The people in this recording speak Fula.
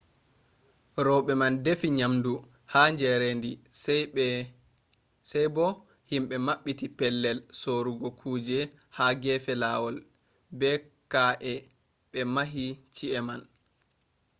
roɓe man defi nyamdu ha jarendi sai bo himɓe maɓɓiti pellel sorugo kujeji ha gefe lawol. be ka’eh ɓe mahi chi’e man